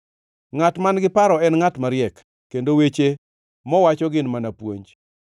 Ngʼat man-gi paro en ngʼat mariek, kendo weche mowacho gin mana puonj.